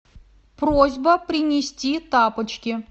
просьба принести тапочки